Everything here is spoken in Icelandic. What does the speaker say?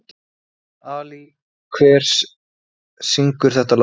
Ali, hver syngur þetta lag?